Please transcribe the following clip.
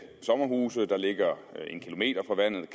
sommerhus der ligger